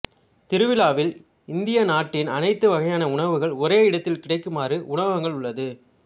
திருவிழாவில் இந்திய நாட்டின் அனைத்து வகையான உணவுகள் ஒரே இடத்தில் கிடைக்குமாறு உணவகங்கள் உள்ளது